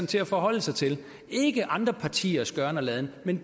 til at forholde sig til ikke andre partiers gøren og laden men